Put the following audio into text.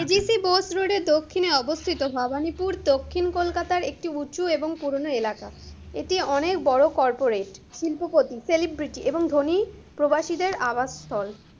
ABC Bose রোডের দক্ষিণে অবস্থিত ভবানীপুর দক্ষিণ কলকাতার একটি উঁচু এবং পুরোনো এলাকা, এটি অনেক বড় corporate, শিল্পপতি, celebrity এবং ধনী প্রবাসীদের আবাসস্থল,